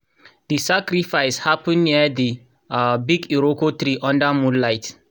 the sacrifice happen near the um big iroko tree under moonlight.